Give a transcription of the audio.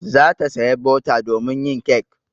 Za ta saya bota domin yin kek.